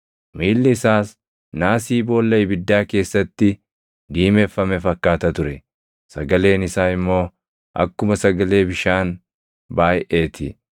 Miilli isaas naasii boolla ibiddaa keessatti diimeffame fakkaata ture; sagaleen isaa immoo akkuma sagalee bishaan baayʼee ti.